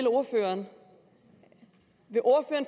ordføreren